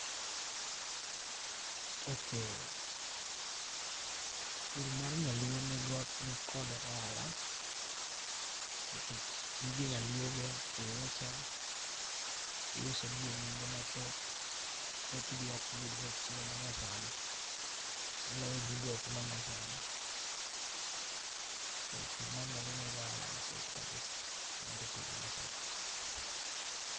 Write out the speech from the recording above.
ok[c]s Pur mar nyaluo nikod oala nikech gige nyaluogo kiuso gi e nengo mathoth, thoth gi ok yudre e chiro ma nyasani. Maloyo gigo ma nya sani. Koro pur ma nyaluo nigi oala mathoth [kabisa] moloyo pur mar nyaluo.